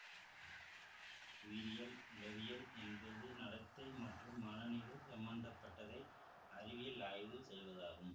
உயிரியல் உளவியல் என்பது நடத்தை மற்றும் மனநிலை சம்பந்த பட்டதை அறிவியல் ஆய்வு செய்வதாகும்